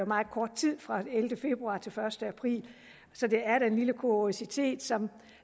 meget kort tid fra den ellevte februar til den første april så det er da en lille kuriositet som